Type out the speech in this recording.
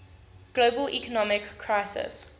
global economic crisis